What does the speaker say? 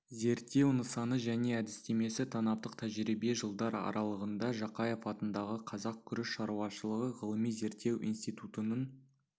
зерттеу нысаны және әдістемесі танаптық тәжірибе жылдар аралығында жақаев атындағы қазақ күріш шаруашылығы ғылыми зерттеу институтының